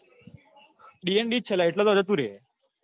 એ dnd જ છે લ્યા એટલે તો જતું રે છે